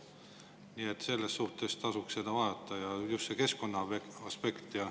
Nii et selles suhtes tasuks seda vaadata, just seda keskkonnaaspekti.